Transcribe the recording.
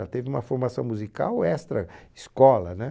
Ela teve uma formação musical extra escola, né?